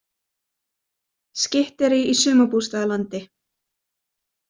Skytterí í sumarbústaðalandi